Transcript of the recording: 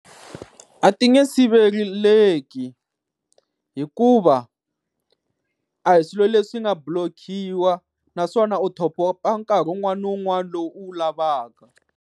A ti nge siveleleki hikuva a hi swilo leswi nga blockiwa, naswona u top-up nkarhi wun'wani na wun'wani lowu u wu lavaka.